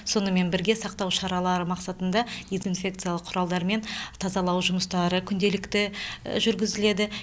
сонымен бірге сақтау шаралары мақсатында дезинфекциялық құралдармен тазалау жұмыстары күнделікті жүргізіледі